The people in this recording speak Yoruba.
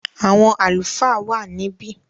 àwọn “Àlùfáà” wà níbí.